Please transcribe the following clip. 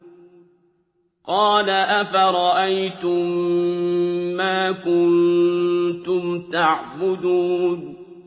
قَالَ أَفَرَأَيْتُم مَّا كُنتُمْ تَعْبُدُونَ